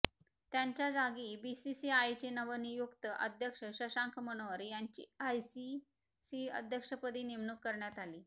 त्यांच्या जागी बीसीसीआयचे नवनियुक्त अध्यक्ष शशांक मनोहर यांची आयसीसी अध्यक्षपदी नेमणूक करण्यात आली